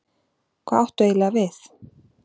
Hvað áttu eiginlega við?